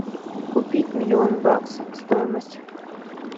купить миллион баксов стоимость